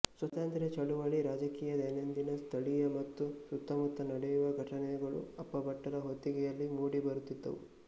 ಸಾತಂತ್ರ್ಯ ಚಳುವಳಿ ರಾಜಕೀಯದೈನಂದಿನ ಸ್ಥಳೀಯ ಮತ್ತು ಸುತ್ತಮುತ್ತ ನಡೆಯುವ ಘಟನೆಗಳು ಅಪ್ಪಾಭಟ್ಟರ ಹೊತ್ತಿಗೆಯಲ್ಲಿ ಮೂಡಿ ಬರುತ್ತಿದ್ದವು